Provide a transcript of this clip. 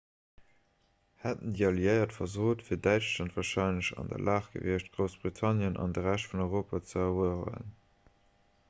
hätten déi alliéiert versot wier däitschland warscheinlech an der lag gewiescht groussbritannien an de rescht vun europa ze erueweren